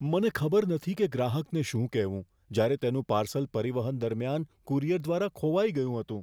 મને ખબર નથી કે ગ્રાહકને શું કહેવું, જ્યારે તેનું પાર્સલ પરિવહન દરમિયાન કુરિયર દ્વારા ખોવાઈ ગયું હતું.